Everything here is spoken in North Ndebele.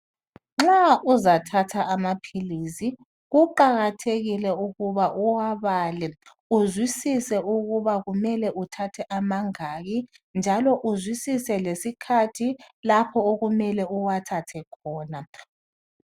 Nxa uzathatha amaphilisi kuqakathekile ukuba uwabale, uzwisise ukuba kumele uthathe amangaki njalo uzwisise lesikhathi lapho okumele uwathathe khona